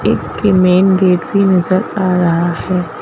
एक main gate भी नजर आ रहा है।